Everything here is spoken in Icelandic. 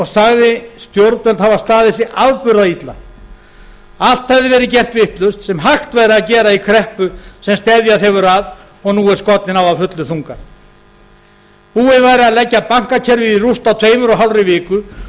sagði stjórnvöld hafa staðið sig afburða illa allt hefur verið gert vitlaust sem hægt væri að gera í kreppu sem steðjað hefur að og nú er skollin á að fullum þunga búið væri að leggja bankakerfið í rúst á tveimur og hálfri viku